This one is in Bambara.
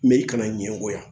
Mɛ i kana ɲɛngoya